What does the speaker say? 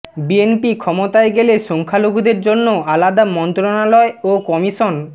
BNP ক্ষমতায় গেলে সংখ্যালঘুদের জন্য আলাদা মন্ত্রণালয় ও কমিশন